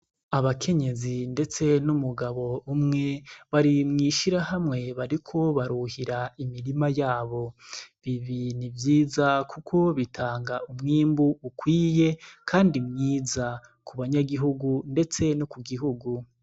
Abakenyezi, ndetse n'umugabo umwe barimwishira hamwe bariko baruhira imirima yabo bibinu ivyiza, kuko bitanga umwimbu ukwiye, kandi mwiza ku banyagihugu, ndetse no ku gihugu.